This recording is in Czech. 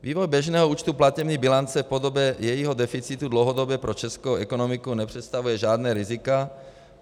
Vývoj běžného účtu platební bilance v podobě jejího deficitu dlouhodobě pro českou ekonomiku nepředstavuje žádná rizika.